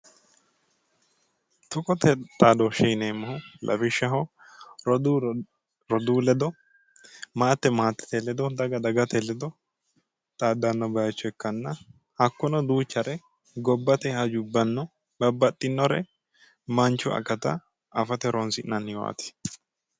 tuqote xaadooshshe yineemmohu lawishshaho roduu roduu ledo maate maatete ledo daga dagate ledo xaaddanno bayicho ikkanna hakkono duuchare gobbate hajubbano babbaxinore manchu akata afate horonsi'nanniwaati.